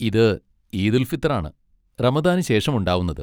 ഇത് ഈദുൽ ഫിത്ർ ആണ്, റമദാന് ശേഷം ഉണ്ടാവുന്നത്.